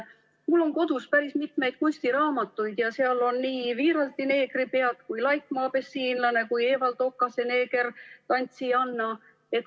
Mul on kodus päris mitmeid kunstiraamatuid ja seal on nii Wiiralti "Neegripead", Laikmaa "Abessiinlane" kui ka Evald Okase "Neegertantsijanna".